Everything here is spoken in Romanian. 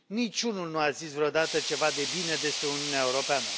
Niciunul nu a zis vreodată ceva de bine despre Uniunea Europeană.